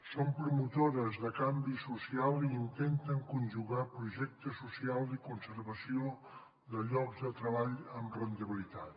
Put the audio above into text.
són promotores de canvi social i intenten conjugar projecte social i conservació de llocs de treball amb rendibilitat